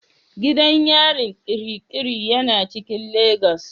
Gidan yarin Kirikiri yana cikin legas.